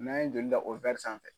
N'an ye joli da o sanfɛ